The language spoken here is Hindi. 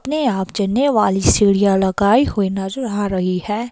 अपने आप जनने वाली सीढ़ियां लगाई हुई नजर आ रही है।